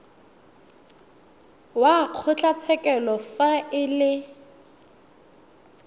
wa kgotlatshekelo fa e le